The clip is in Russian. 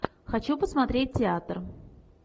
хочу посмотреть театр